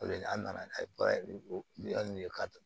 O de la an nana n'a ye baara nin ye ka